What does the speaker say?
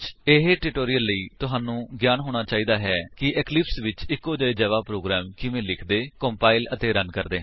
ਇਹ ਟਿਊਟੋਰਿਅਲ ਲਈ ਤੁਹਾਨੂੰ ਗਿਆਨ ਹੋਣਾ ਚਾਹੀਦਾ ਹੈ ਕਿ ਇਕਲਿਪਸ ਵਿੱਚ ਇੱਕੋ ਜਿਹੇ ਜਾਵਾ ਪ੍ਰੋਗਰਾਮ ਕਿਵੇਂ ਲਿਖਦੇ ਕੰਪਾਇਲ ਅਤੇ ਰਨ ਕਰਦੇ ਹਨ